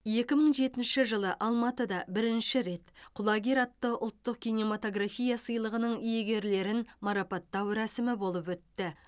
екі мың жетінші жылы алматыда бірінші рет құлагер атты ұлттық кинематография сыйлығының иегерлерін марапаттау рәсімі болып өтті